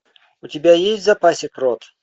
у тебя есть в запасе крот